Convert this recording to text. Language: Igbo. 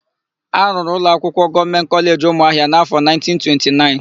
A rụrụ ụlọakwụkwọ Gọọmentị Kọleji Ụmụahịa n'áfọ̀1929.